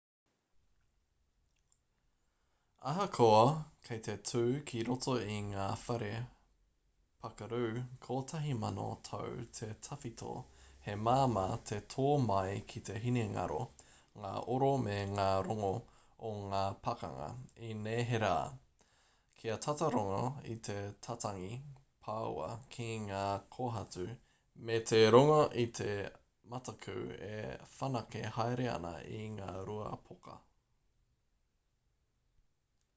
ahakoa kei te tū ki roto i ngā whare pakaru kotahi mano tau te tawhito he māmā te tō mai ki te hinengaro ngā oro me ngā rongo o ngā pakanga i neherā kia tata rongo i te tatangi pāua ki ngā kōhatu me te rongo i te mataku e whanake haere ana i ngā rua poka